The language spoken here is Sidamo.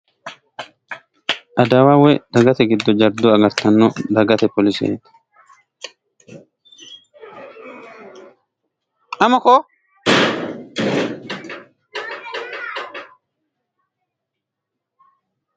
adawa woy dagate giddo jaddo agartgtanno dagate poliseeti.